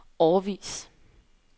årevis